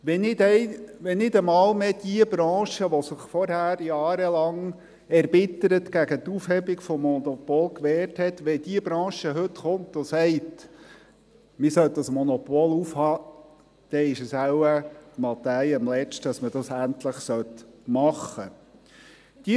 Wenn nicht einmal mehr jene Branche, die sich vorher jahrelang erbittert gegen die Aufhebung des Monopols gewehrt hat … Wenn diese Branche heute kommt und sagt, man sollte das Monopol aufheben, dann ist es wohl Matthäi am Letzten, dass man dies endlich machen sollte.